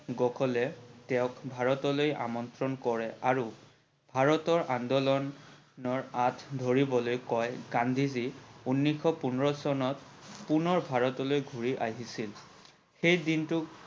সকলে তেওক ভাৰতলৈ আমন্ত্ৰণ কৰে আৰু ভাৰতৰ আন্দোলনৰ আট ধৰিবলৈ কয়। গান্ধীজি ঊলৈষশ পোন্ধৰ চনত পুণৰ ভাৰতলৈ ঘূৰি আহিছিল।